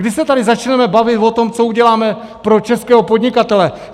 Kdy se tady začneme bavit o tom, co uděláme pro českého podnikatele?